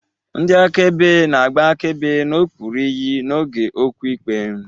Ndị akaebe na-agba akaebe n'okpuru iyi n'oge okwu ikpe.